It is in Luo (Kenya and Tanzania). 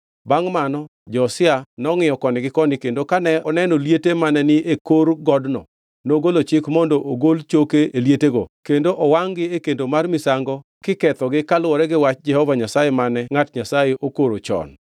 Bangʼ mano Josia nongʼiyo koni gi koni kendo kane oneno liete mane ni e kor godno, nogolo chik mondo ogol choke e lietego kendo owangʼ-gi e kendo mar misango kikethego kaluwore gi wach Jehova Nyasaye mane ngʼat Nyasaye okoro chon.